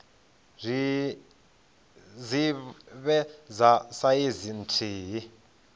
dzi vhe dza saizi nthihi